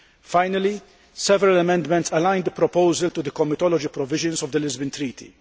Finally, several amendments align the proposals to the comitology provisions of the Lisbon Treaty.